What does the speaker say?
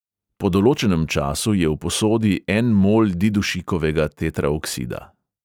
Po določenem času je v posodi en mol didušikovega tetraoksida.